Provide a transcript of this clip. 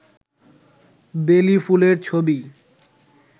বেলি ফুলের ছবি